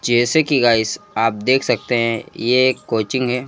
जैसे कि गाइस आप देख सकते हैं ये एक कोचिंग है।